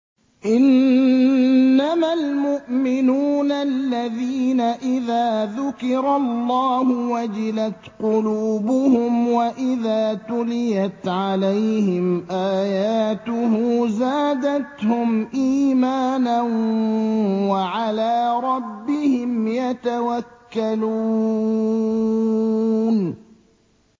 إِنَّمَا الْمُؤْمِنُونَ الَّذِينَ إِذَا ذُكِرَ اللَّهُ وَجِلَتْ قُلُوبُهُمْ وَإِذَا تُلِيَتْ عَلَيْهِمْ آيَاتُهُ زَادَتْهُمْ إِيمَانًا وَعَلَىٰ رَبِّهِمْ يَتَوَكَّلُونَ